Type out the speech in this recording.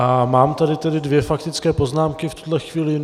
A mám tady tedy dvě faktické poznámky v tuhle chvíli.